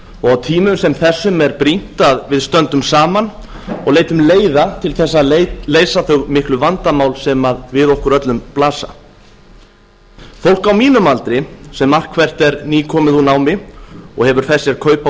og á tímum sem þessum er brýnt að við stöndum saman og leitum leiða til þess að leysa þau miklu vandamál sem við okkur öllum blasa fólk á mínum aldri sem margt hvert er nýkomið úr námi og hefur fest sér kaup á